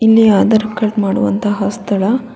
ಇಲ್ಲಿ ಆಧಾರ್ ಕಾರ್ಡ್ ಮಾಡುವಂತಹ ಸ್ಥಳ.